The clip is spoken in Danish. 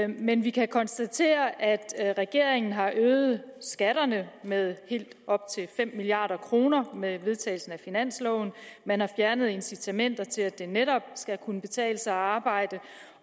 men vi kan konstatere at regeringen har øget skatterne med helt op til fem milliard kroner med vedtagelsen af finansloven man har fjernet incitamenter til at det netop skal kunne betale sig at arbejde